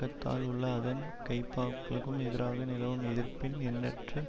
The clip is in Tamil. பாக்கதால் உள்ள அதன் கைப்பாக்களுக்கும் எதிராக நிலவும் எதிர்ப்பின் எண்ணற்ற